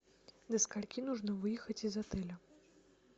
до скольки нужно выехать из отеля